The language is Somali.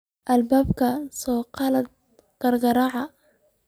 Albanka saqaladh kirkirac.